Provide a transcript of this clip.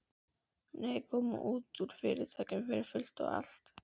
Nei, koma honum út úr Fyrirtækinu fyrir fullt og allt.